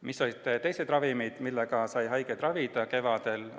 Milliste teiste ravimitega sai haigeid kevadel ravida?